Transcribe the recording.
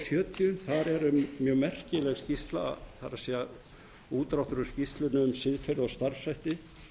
hundrað sjötíu þar er mjög merkileg skýrsla það er útdráttur úr skýrslunni um siðferði og starfshætti